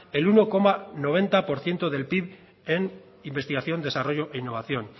el uno coma noventa por ciento del pib en investigación desarrollo e innovación